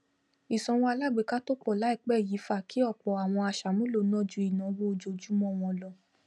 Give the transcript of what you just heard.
ìsanwó alágbèéká tó pọ láìpé yìí fa kí ọpọ àwọn aṣàmúlò ná ju ìnàwó ojojúmọ wọn lọ